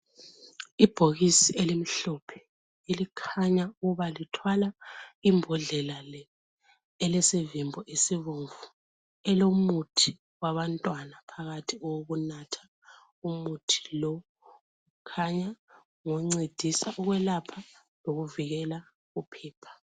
Ibhokisi elimhlophe, elikhanya ukubalithwala imbhodlela le, elesivimbo esibomvu elomuthi wabantwana phakathi owokunatha. Umuthi lo khanya ngoncedisa ukwelapha lokuvikela uphepha.